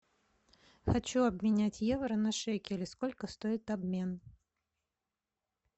хочу обменять евро на шекели сколько стоит обмен